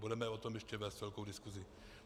Budeme o tom ještě vést velkou diskusi.